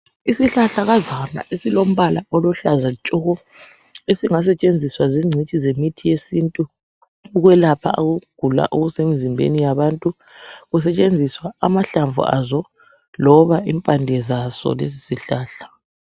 Isihlahlakazana esilombala oluhlaza tshoko esingasetshenziswa zingcitshi zemithi yesintu, ukuyelapha ukugula okusemizimbeni yabantu, kusetshenziswa amahlamvu azo loba impande zaso lesi sihlahla.